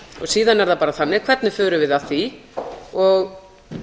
síðan er það bara þannig hvernig förum við að því og